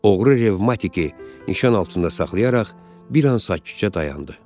Oğru revmatiki nişan altında saxlayaraq bir an sakitcə dayandı.